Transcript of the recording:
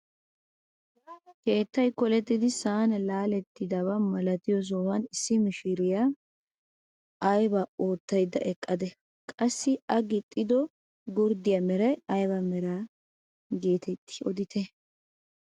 Keettay kolettidi sa'an laalettidaba milatiyoo sohuwaan issi mishiriyaa aybaa oottayda eqqadee? qassi a gixxido gurddiyaa meray ayba meraa getettii odite?